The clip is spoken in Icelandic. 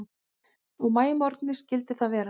Á maímorgni skyldi það vera.